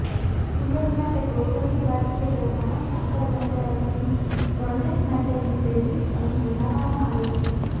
સુરત માટે ગૌરવની વાત છે કે સંરક્ષણ કર્મચારીઓની ગણવેશ માટેની ફેબ્રિક અહીં બનાવવામાં આવે છે